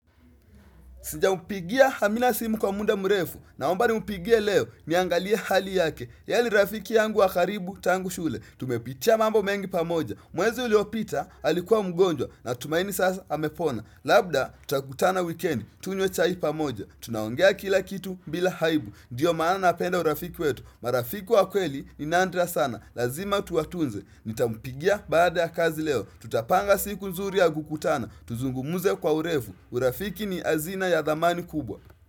Sijampigia amina simu kwa muda mrefu naomba ni mpigia leo niangalia hali yake. Yeye ni rafiki yangu wa karibu tangu shule. Tumepitia mambo mengi pamoja. Mwezi uliopita alikuwa mgonjwa natumaini sasa amepona. Labda tutakutana wikendi tunye chai pamoja. Tunaongea kila kitu bila aibu. Ndiyo maana napenda urafiki wetu. Marafiki wa kweli nindria sana. Lazima tuwatunze. Nitampigia baada ya kazi leo. Tutapanga siku nzuri ya kukutana. Tuzungumuze kwa urefu. Urafiki ni azina ya dhamani kubwa.